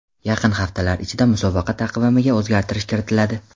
Yaqin haftalar ichida musobaqa taqvimiga o‘zgartirish kiritiladi .